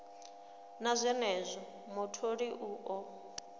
na zwenezwo mutholi u ḓo